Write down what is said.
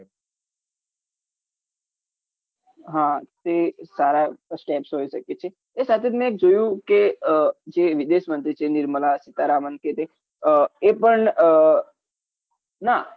હા તે સારા steps હોય છે કે જે એ સાથે જ મેં જોયું કે જે વિદેશ મંત્રી છે નિર્મલા સીતારામન કે તે એ પણ ના